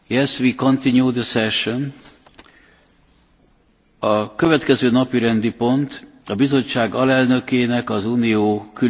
A következő pont a Bizottság alelnökének és az Unió külügyi és biztonságpolitikai főképviselőjének a nyilatkozata